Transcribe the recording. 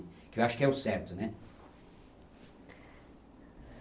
Eu acho que é o certo, né?